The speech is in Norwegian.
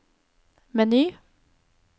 meny